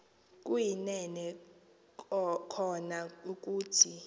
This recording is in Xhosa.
kuyinene kona ukuthi